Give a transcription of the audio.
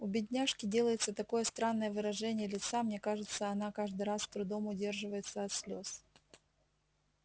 у бедняжки делается такое странное выражение лица мне кажется она каждый раз с трудом удерживается от слез